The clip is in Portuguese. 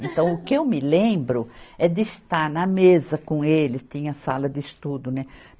Então, o que eu me lembro é de estar na mesa com ele, tinha sala de estudo, né?